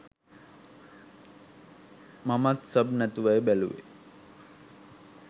මමත් සබ් නැතුවයි බැලුවේ.